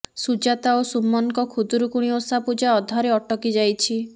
ସୁଜାତା ଓ ସୁମନଙ୍କ ଖୁଦୁରୁକୁଣୀ ଓଷା ପୂଜା ଅଧାରେ ଅଟକି ଯାଇଛି